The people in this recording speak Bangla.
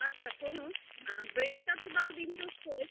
আচ্ছা শোনো bread তার সাথে ডিম toast করে